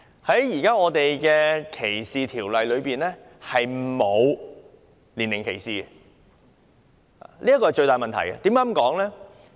香港現時禁止歧視的條例中並不涵蓋年齡歧視，這是最大的問題。